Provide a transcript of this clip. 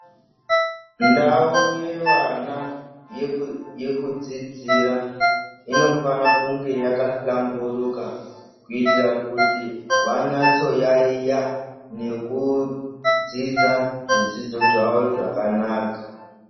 Ndau yevana yekudzidzira inofana kunge yakahlamburuka kuitira kuti vanyatso kuyaiya nekudzidza zvidzidzo zvavo zvakanaka.